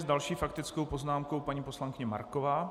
S další faktickou poznámkou paní poslankyně Marková.